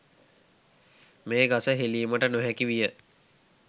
මේ ගස හෙළීමට නොහැකි විය.